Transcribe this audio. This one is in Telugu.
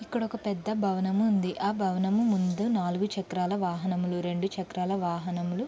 ఇక్కడ ఒక పెద్ద భవనము ఉంది. ఆ భవనము ముందు నాలుగు చక్రాల వాహనములు రెండు చక్రాల వాహనములు--